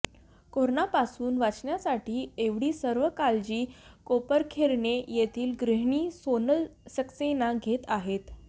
कोरोनापासून वाचण्यासाठी एवढी सर्व काळजी कोपरखैरणे येथील गृहिणी सोनल सक्सेना घेत आहेत